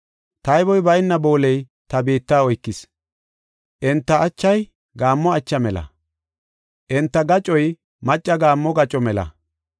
Tayboy bayna booley ta biitta oykis; Enta achay gaammo acha mela; enta gacoy macca gaammo gaco mela.